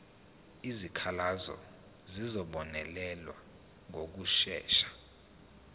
izikhalazo zizobonelelwa ngokushesha